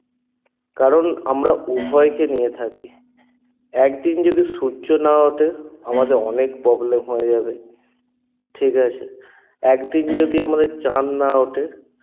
কারণ আমরা উভয়কে নিয়ে থাকি একদিন যদি সূর্য না ওঠে আমাদের অনেক problem হয়ে যাবে ঠিকাছে? একদিন যদি আমাদের চাঁদ না ওঠে